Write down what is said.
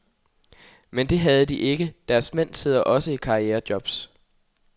Men det havde de ikke, deres mænd sidder også i karrierejobs.